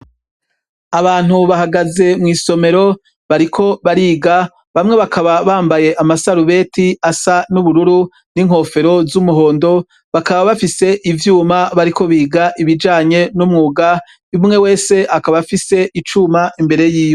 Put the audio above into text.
Abantu bahagaze mw’isomero, bariko bariga, bamwe bakaba bambaye ama sarubeti asa n’ubururu n’inkofero z’umuhondo, bakaba bafise ivyuma bariko biga ibijanye n’umwuga. Umwe wese akab’afise icuma imbere yiwe .